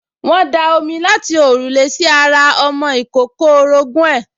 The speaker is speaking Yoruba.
wọ́n da omi láti òrùlé sí ara ọmọ ìkókó orogún ẹ̀